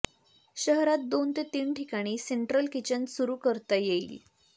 शहरात दोन ते तीन ठिकाणी सेंट्रल किचन सुरू करता येईल